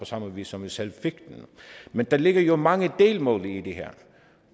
samme vis som vi selv fik den men der ligger jo mange delmål i det her